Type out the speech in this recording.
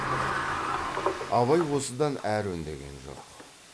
абай осыдан әрі үндеген жоқ